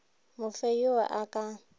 mo fe yo a ka